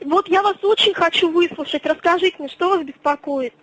вот я вас очень хочу выслушать расскажите что вас беспокоит